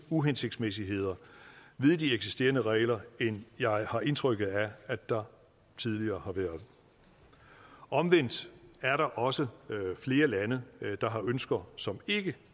uhensigtsmæssigheder ved de eksisterende regler end jeg har indtrykket af at der tidligere har været omvendt er der også flere lande der har ønsker som ikke